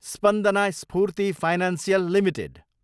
Spandana Sphoorty financial Ltd